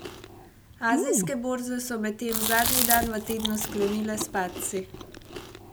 Azijske borze so medtem zadnji dan v tednu sklenile s padci.